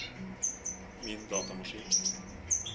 min datamaskin